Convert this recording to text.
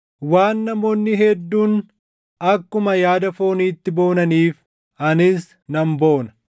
Waan namoonni hedduun akkuma yaada fooniitti boonaniif, anis nan boona.